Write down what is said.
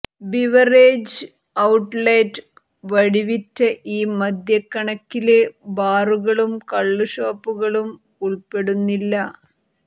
beverages outlet വഴിവിറ്റ ഈ മദ്യക്കണക്കില് ബാറുകളും കള്ളുഷോപ്പുകളും ഉള്പ്പെടുന്നില്ല